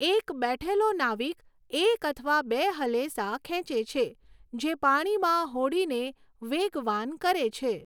એક બેઠેલો નાવિક એક અથવા બે હલેસાં ખેંચે છે, જે પાણીમાં હોડીને વેગવાન કરે છે.